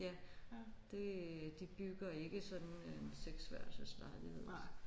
Ja det de bygger ikke sådan en seksværelses lejlighed